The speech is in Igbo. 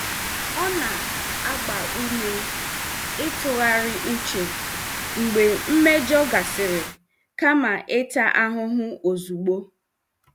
Ọ na-agba ume ịtụgharị uche mgbe mmejọ gasịrị kama ịta ahụhụ ozugbo.